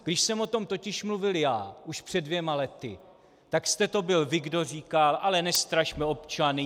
Když jsem o tom totiž mluvil já už před dvěma lety, tak jste to byl vy, kdo říkal: Ale nestrašme občany.